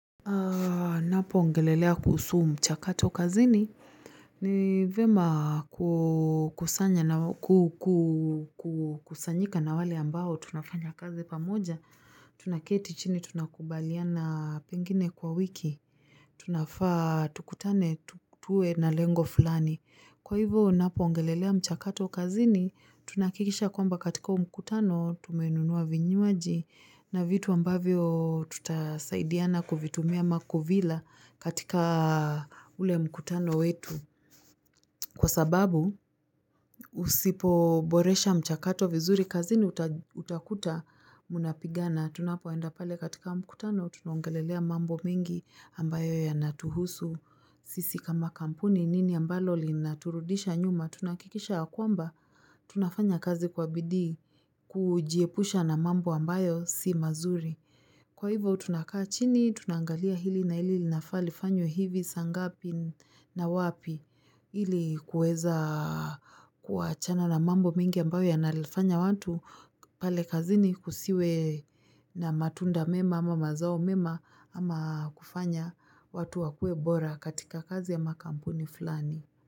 Napo ongelelea kuhusu mchakato kazini ni vyema kusanyika na wale ambao tunafanya kazi pamoja, tunaketi chini tunakubaliana pengine kwa wiki, tunafaa tukutane tuwe na lengo fulani. Kwa hivyo unapo ongelelea mchakato kazini, tunahakikisha kwamba katika huu mkutano tumenunua vinywaji na vitu ambavyo tutasaidiana kuvitumia ama kuvila katika ule mkutano wetu. Kwa sababu husipoboresha mchakato vizuri kazini utakuta mnapigana, tunapoenda pale katika mkutano, tunongelelea mambo mengi ambayo ya natuhusu, sisi kama kampuni nini ambalo lina turudisha nyuma, tunahakikisha ya kwamba, tunafanya kazi kwa bidii kujiepusha na mambo ambayo si mazuri. Kwa hivyo tunakaa chini, tunaangalia hili na hili nlinafaa linafwe hivi, saa ngapi na wapi, ili kuweza kuachana na mambo mingi ambayo yanafanya watu pale kazini kusiwe na matunda mema ama mazao mema ama kufanya watu wakue bora katika kazi ya makampuni fulani.